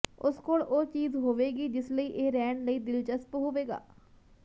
ਉਸ ਕੋਲ ਉਹ ਚੀਜ਼ ਹੋਵੇਗੀ ਜਿਸ ਲਈ ਇਹ ਰਹਿਣ ਲਈ ਦਿਲਚਸਪ ਹੋਵੇਗਾ